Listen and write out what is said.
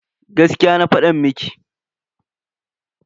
Gaskiya na fada miki.